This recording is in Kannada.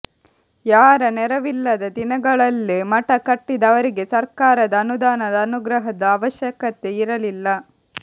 ಯಾರ ನೆರವಿಲ್ಲದ ದಿನಗಳಲ್ಲೇ ಮಠ ಕಟ್ಟಿದ ಅವರಿಗೆ ಸರ್ಕಾರದ ಅನುದಾನದ ಅನುಗ್ರಹದ ಅವಶ್ಯಕತೆ ಇರಲಿಲ್ಲ